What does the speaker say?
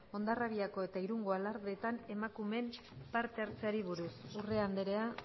hondarribiko eta irungo alardeetan emakumeen parte hartzeari buruz urrea andrea